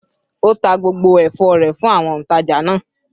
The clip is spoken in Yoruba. Ó ta gbogbo ẹ̀fọ́ rẹ̀ fún àwọn òǹtajà náà?